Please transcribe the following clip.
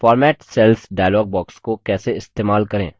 format cells dialog box को कैसे इस्तेमाल करें